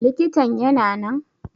Likitan yana nan?